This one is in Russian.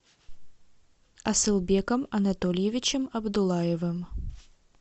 асылбеком анатольевичем абдуллаевым